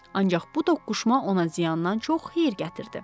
Ancaq bu toqquşma ona ziyandan çox xeyir gətirdi.